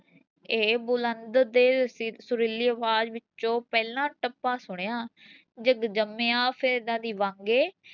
ਇਹ ਬੁਲੰਦ ਤੇ ਸੁ ਸੁਰੀਲੀ ਆਵਾਜ਼ ਵਿੱਚੋਂ ਪਹਿਲਾਂ ਟੱਪਾ ਸੁਣਿਆ, ਜਗ ਜੰਮਿਆ ਵਾਂਗੇ